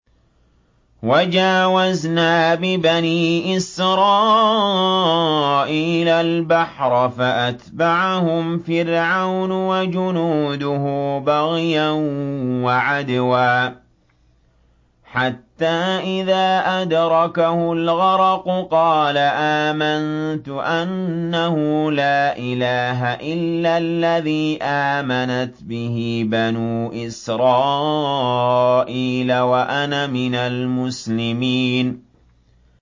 ۞ وَجَاوَزْنَا بِبَنِي إِسْرَائِيلَ الْبَحْرَ فَأَتْبَعَهُمْ فِرْعَوْنُ وَجُنُودُهُ بَغْيًا وَعَدْوًا ۖ حَتَّىٰ إِذَا أَدْرَكَهُ الْغَرَقُ قَالَ آمَنتُ أَنَّهُ لَا إِلَٰهَ إِلَّا الَّذِي آمَنَتْ بِهِ بَنُو إِسْرَائِيلَ وَأَنَا مِنَ الْمُسْلِمِينَ